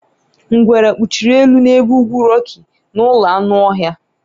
Ngwere kpuchiri elu n'ebe ugwu Rocky na ụlọ anụ ọhịa